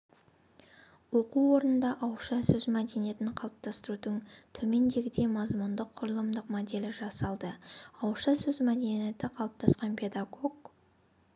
оқу орнында ауызша сөз мәдениетін қалыптастырудың төмендегідей мазмұндық-құрылымдық моделі жасалды ауызша сөз мәдениеті қалыптасқан педагог